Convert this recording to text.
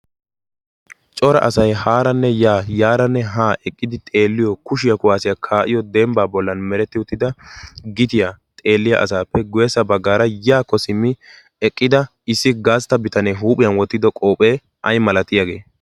Cora asay haaranne yaaranne haa eqqidi xeelliyo kushiyaa kuwaasiyaa kaa'iyo dembbaa bollan meretti uttida gitiyaa xeelliya asaappe guyyessa baggaara yaakko simmi eqqida issi gaastta bitanee huuphiyan wottido qoohphee ay malatiyaagee?